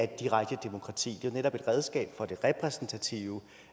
direkte demokrati men netop et redskab for det repræsentative